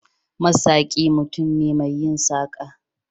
Masaki mutum ne mai yin saƙa.